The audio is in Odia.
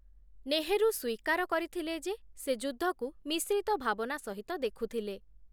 ନେହରୁ ସ୍ୱୀକାର କରିଥିଲେ ଯେ, ସେ ଯୁଦ୍ଧକୁ ମିଶ୍ରିତ ଭାବନା ସହିତ ଦେଖୁଥିଲେ ।